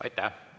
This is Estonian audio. Aitäh!